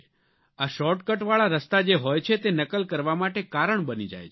આ શોર્ટ કટવાળા રસ્તા જે હોય છે તે નકલ કરવા માટે કારણ બની જાય છે